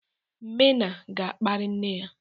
Mena ga-akparị nne ya.